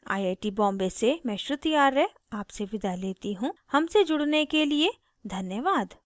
I I T Bombay से मैं श्रुति आर्य आपसे विदा लेती हूँ हमसे जुड़ने के लिए धन्यवाद